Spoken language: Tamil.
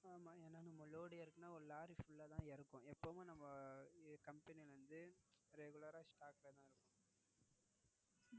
ஆமா ஏன்னா நம்ம Load இறக்கினா ஒரு Lorry Full ஆஹ் தான் இறங்குவோம். எப்பவும் நம்ம Company வந்து Regular ஆஹ் Stock ல தான் இருக்கும்.